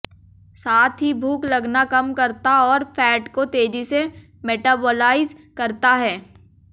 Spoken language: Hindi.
साथ ही भूख लगना कम करता और फैट को तेजी से मेटाबॉलाइज करता है